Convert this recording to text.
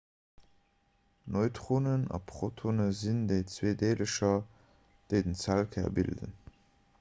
neutronen a protone sinn déi zwee deelercher déi den zellkär bilden